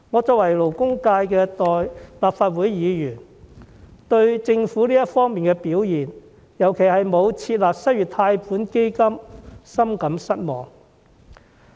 作為勞工界的立法會議員，我對政府這方面的表現，尤其是沒有設立失業貸款基金，深感失望。